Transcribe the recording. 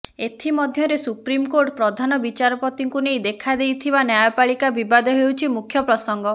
ଏଥିମଧ୍ୟରେ ସୁପ୍ରିମକୋର୍ଟ ପ୍ରଧାନ ବିଚାରପତିଙ୍କୁ ନେଇ ଦେଖାଦେଇଥିବା ନ୍ୟାୟପାଳିକା ବିବାଦ ହେଉଛି ମୁଖ୍ୟ ପ୍ରସଙ୍ଗ